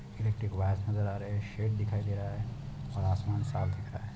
Electric wire नजर आ रहे है शेड दिखाई दे रहा है और आसमान साफ दिख रहा है।